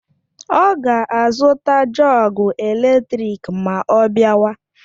Ọ ga azuta jọgu eletrik ma ọ biawa